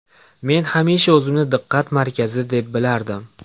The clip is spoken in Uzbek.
Men hamisha o‘zimni diqqat markazida deb bilardim”.